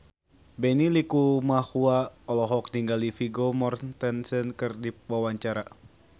Benny Likumahua olohok ningali Vigo Mortensen keur diwawancara